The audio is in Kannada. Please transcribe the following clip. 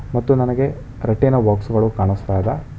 ಮತ್ತು ನನಗೆ ರೊಟ್ಟಿನ ಬಾಕ್ಸ್ ಗಳು ಕಾಣಿಸ್ತಾ ಇದೆ.